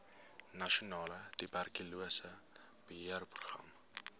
nasionale tuberkulose beheerprogram